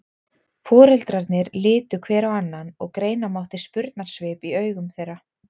Foreldrarnir litu hver á annan og greina mátti spurnarsvip í augum þeirra.